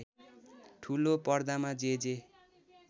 ठुलो पर्दामा जे जे